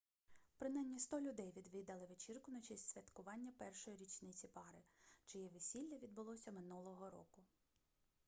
принаймні 100 людей відвідали вечірку на честь святкування першої річниці пари чиє весілля відбулося минулого року